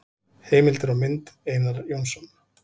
Heimildir og mynd: Einar Jónsson.